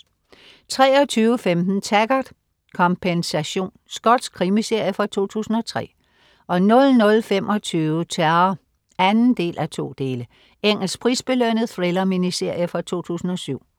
23.15 Taggart: Kompensation. Skotsk krimiserie fra 2003 00.25 Terror 2:2. Engelsk prisbelønnet thriller-miniserie fra 2007